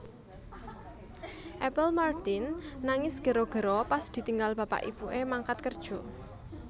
Apple Martin nangis gero gero pas ditinggal bapak ibu e mangkat kerjo